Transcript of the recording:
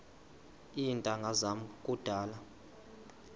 iintanga zam kudala